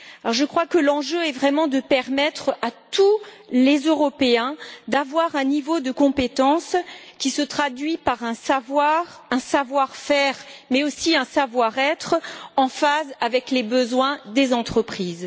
Je crois que l'enjeu est vraiment de permettre à tous les Européens d'avoir un niveau de compétence qui se traduise par un savoir, un savoir faire, mais aussi un savoir être en phase avec les besoins des entreprises.